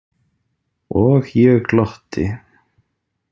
Og ég glotti.